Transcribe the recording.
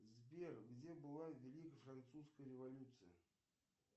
сбер где была великая французская революция